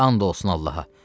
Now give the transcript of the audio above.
And olsun Allaha.